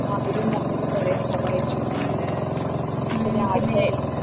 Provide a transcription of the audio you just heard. അവരും വന്നിട്ട് കൊറേ സഹായിച്ചു ഞങ്ങളെ രാവിലെ